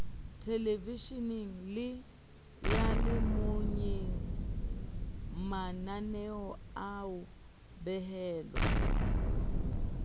thelevesheneng le seyalemoyeng mananeoa behelwa